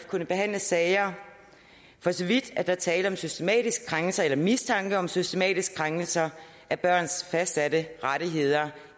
kunne behandle sager for så vidt er tale om systematisk krænkelse eller mistanke om systematisk krænkelse af børns fastsatte rettigheder